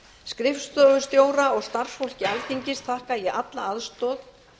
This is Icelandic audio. skrifstofustjóra og starfsfólki alþingis þakka ég alla aðstoð